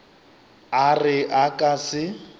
a re a ka se